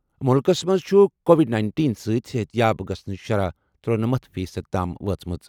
مُلکَس منٛز چھُ کووڈ نَینِٹین سۭتۍ صحتیاب گژھنٕچ شرح ترٗنٔمتھ فی صٔدی تام وٲژمٕژ.